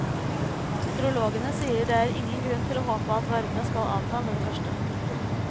Meteorologene sier det er ingen grunn til å håpe at varme skal avta med det første.